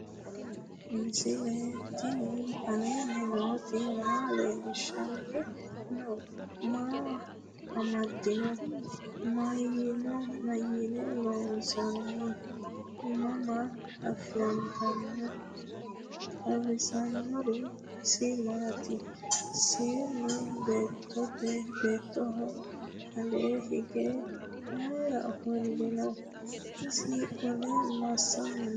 misile tini alenni nooti maa leelishanni noo? maa amadinno? Maayinni loonisoonni? mama affanttanno? xawisanori isi maati? seenu beetoho alee hige mayiira ofolinno? isi qole masanni noo?